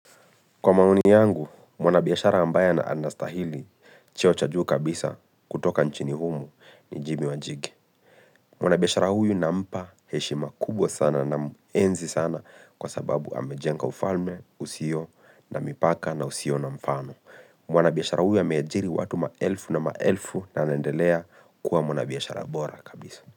Kwa maoni yangu, mwanabiashara ambaye ana anastahili cheo cha juu kabisa kutoka nchini humu ni Jimmy Wanjigi. Mwana biashara huyu nampa heshima kubwa sana namuenzi sana kwa sababu amejenga ufalme usio na mipaka na usio na mfano. Mwana biashara huyu ya ameajiri watu maelfu na maelfu na anaendelea kuwa mwanabiashara bora kabisa.